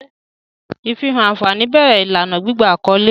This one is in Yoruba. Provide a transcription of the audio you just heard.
Ifihan anfani bẹrẹ ilana gbigba akọle.